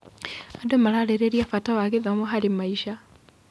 Andũ mararĩrĩria bata wa gĩthomo harĩ maica.